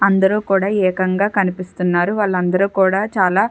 అందరూ కూడా ఏకంగా కనిపిస్తున్నారు వాళ్ళందరూ కూడా చాలా--